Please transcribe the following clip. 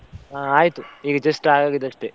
ಹಾ ಆಯ್ತು, ಈಗ just ಆಗಿದಷ್ಟೇ.